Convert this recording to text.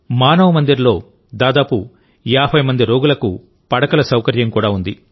మానవ్ మందిర్లో దాదాపు 50 మంది రోగులకు పడకల సౌకర్యం కూడా ఉంది